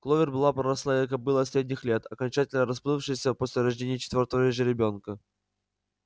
кловер была рослая кобыла средних лет окончательно расплывшаяся после рождения четвёртого же ребёнка